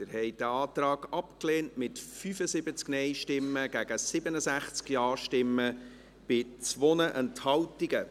Sie haben diesen Antrag abgelehnt, mit 75 Nein- zu 67 Ja-Stimmen bei 2 Enthaltungen.